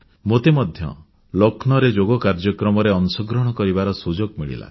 ମୋତେ ମଧ୍ୟ ଲକ୍ଷ୍ନୌରେ ଯୋଗ କାର୍ଯ୍ୟକ୍ରମରେ ଅଂଶଗ୍ରହଣ କରିବାର ସୁଯୋଗ ମିଳିଲା